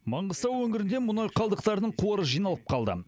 маңғыстау өңірінде мұнай қалдықтарының қоры жиналып қалды